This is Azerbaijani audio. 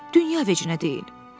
Dünya vecinnə deyil.